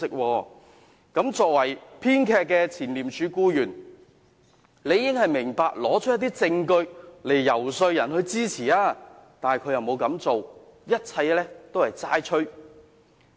這位作為編劇的前廉署僱員，理應明白需要提供一些證據來求取別人支持，但他並沒有這樣做，一切都是"齋吹"。